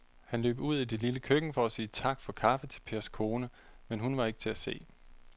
Han løb ud i det lille køkken for at sige tak for kaffe til Pers kone, men hun var ikke til at se.